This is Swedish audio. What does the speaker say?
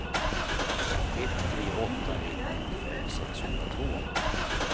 ett tre åtta ett nittiofem sexhundratvå